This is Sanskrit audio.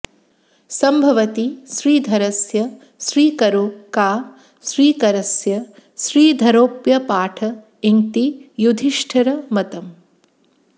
सम्भवति श्रीधरस्य श्रीकरो का श्रीकरस्यः श्रीधरोऽप्यपाठ इंति युधिष्ठिरमतम्